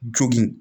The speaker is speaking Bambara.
Jogin